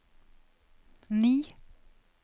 ni